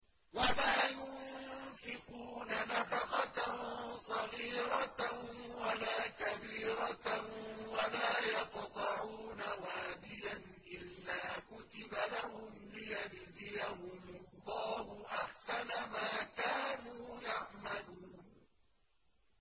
وَلَا يُنفِقُونَ نَفَقَةً صَغِيرَةً وَلَا كَبِيرَةً وَلَا يَقْطَعُونَ وَادِيًا إِلَّا كُتِبَ لَهُمْ لِيَجْزِيَهُمُ اللَّهُ أَحْسَنَ مَا كَانُوا يَعْمَلُونَ